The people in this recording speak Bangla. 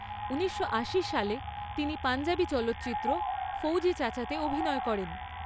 ঊনিশশো আশি সালে, তিনি পঞ্জাবি চলচ্চিত্র ফৌজি চাচাতে অভিনয় করেন।